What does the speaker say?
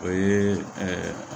O ye ɛɛ